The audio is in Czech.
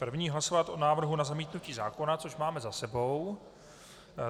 První hlasovat o návrhu na zamítnutí zákona, což máme za sebou.